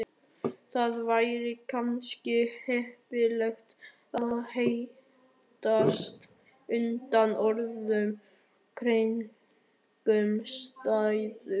Það væri kannski heppilegra að hittast undir öðrum kringumstæðum